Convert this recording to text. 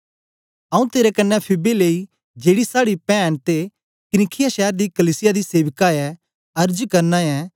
आऊँ तेरे कन्ने फीबे लेई जेड़ी साड़ी पैन ते किंख्रिया शैर दी कलीसिया दी सेविका ऐ अर्ज करना ऐं